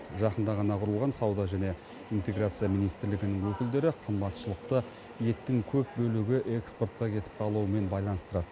жақында ғана құрылған сауда және интеграция министрлігінің өкілдері қымбатшылықты еттің көп бөлігі экспортқа кетіп қалуымен байланыстырады